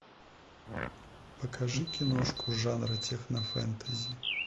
покажи киношку жанра технофэнтези